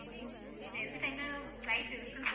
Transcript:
இதுல எந்த time ல flight இருக்குன்னு சொல்~